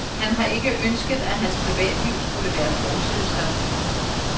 Han har ikke ønsket, at han privatliv skulle være forsidestof.